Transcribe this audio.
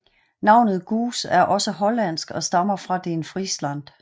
Navnet Goose er også hollandsk og stammer fra den Frisland